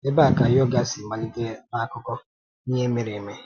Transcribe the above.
Ebee ka yoga si malite n’akụkọ ihe mere eme?